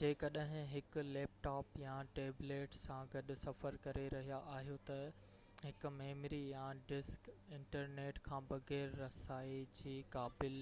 جيڪڏهن هڪ laptop يا ٽيبليٽ سان گڏ سفر ڪري رهيا آهيو ته، هڪ ميموري يا ڊسڪ انٽرنيٽ کان بغير رسائي جي قابل